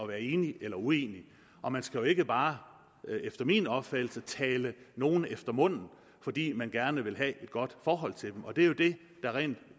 være enig eller uenig og man skal jo ikke bare efter min opfattelse tale nogen efter munden fordi man gerne vil have et godt forhold til dem det er jo det der ret